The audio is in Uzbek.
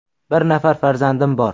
Bir nafar farzandim bor.